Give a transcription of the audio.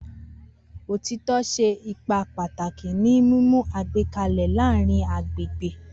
Otitọ ṣe ipa pataki ni mimu igbẹkẹle laarin agbegbe.